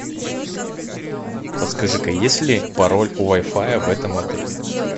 подскажи ка есть ли пароль у вай фая в этом отеле